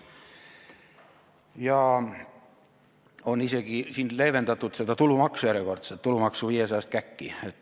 On isegi leevendatud tulumaksu järjekordselt, seda tulumaksu viiesajast käkki.